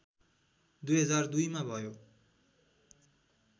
२००२ मा भयो